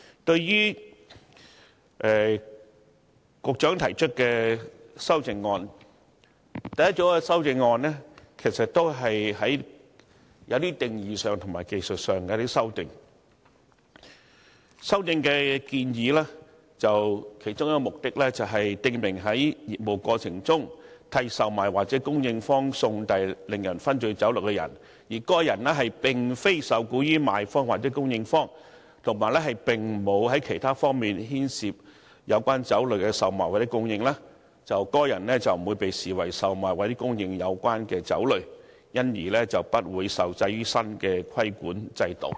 對於局長提出的修正案，第一組修正案是一些定義上和技術上的修訂，修訂建議其中一個目的是，訂明在業務過程中替售賣或供應方送遞令人醺醉酒類的人，而該人並非受僱於賣方或供應方，以及並無在其他方面牽涉於有關酒類的售賣或供應，則該人不會被視為售賣或供應有關酒類，因而不會受制於新的規管制度。